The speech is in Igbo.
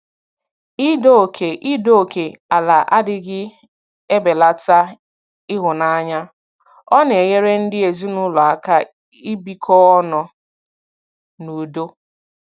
Ido oke Ido oke ala adịghị ebelata ịhụnanya; ọ na-enyere ndị ezinụlọ aka ibikọ ọnụ n'udo.